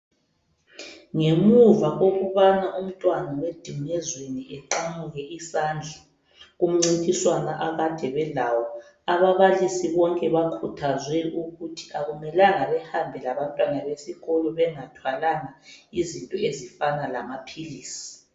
Ngemuva kokubana umntwana weDingezweni eqamuke isandla kumncintiswano akade belawo ababalisi bonke bakhuthazwe ukuthi akumelanga behambe labantwana besikolo bengathwalanga izinto ezifana lamaphilisi.